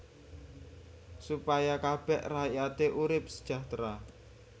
Supaya kabèh rakyaté urip sejahtera